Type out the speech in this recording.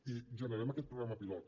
i generem aquest programa pilot